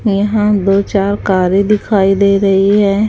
यहां दो चार कारे दिखाई दे रही है।